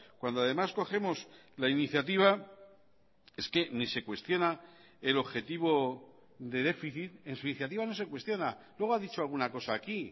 cuando además cogemos la iniciativa es que ni se cuestiona el objetivo de déficit en su iniciativa no se cuestiona luego ha dicho alguna cosa aquí